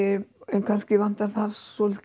en kannski vantar þar svolítið